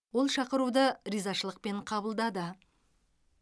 ол шақыруды ризашылықпен қабылдады